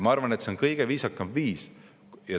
Ma arvan, et see on kõige viisakam viis.